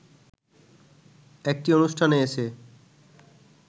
একটি অনুষ্ঠানে এসে